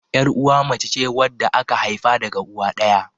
Yar'uwa mace ce wadda aka haifa daga uwa ɗaya.